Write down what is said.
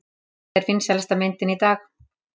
Þetta er vinsælasta myndin í dag!